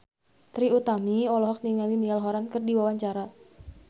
Trie Utami olohok ningali Niall Horran keur diwawancara